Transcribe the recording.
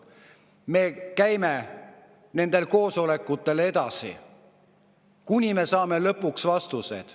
Me käime nendel koosolekutel edasi, kuni me saame lõpuks vastused.